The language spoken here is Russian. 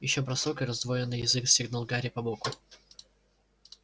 ещё бросок и раздвоенный язык стегнул гарри по боку